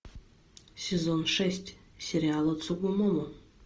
сезон шесть сериала цугумомо